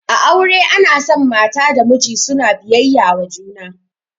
A aure ana son mata da miji suna biyayya wa juna